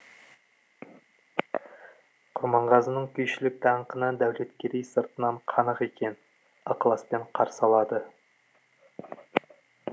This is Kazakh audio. құрманғазының күйшілік даңқына дәулеткерей сыртынан қанық екен ықыласпен қарсы алады